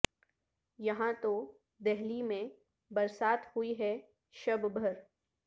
یہاں تو دہلی میں برسات ہوئی ہے شب بھر